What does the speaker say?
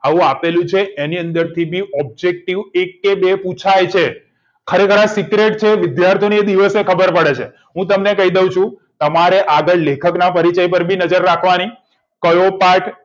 આવું આપેલું જ હોય એની અંદર થી objective એક કે બે પુછાય છે ખરેખર આ secret છે video થીને એ દિવસે ખબર પડે છે હું તમને કઈ દઉં છુ તમારે આગળ લેખક ના પરિચય પર નજર રાખવાની કયો પાઠ